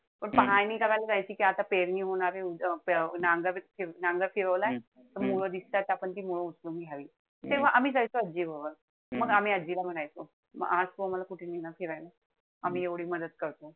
पण पाहणी करायला जायचं. कि आता पेरणी होणार आहे. अं नांगर फिरवलाय. त मूळ दिसतंय. त आपण ती मूळ उचलून घ्यायला पाहिजे. तेव्हा आम्ही जायची आजीबरोबर. मग आम्ही आजीला मदत करायचो. आज तू आम्हाला कुठे नेणार फिरायला. आम्ही एवढी मदत करतोय.